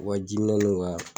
U ja jiminɛ n'u ka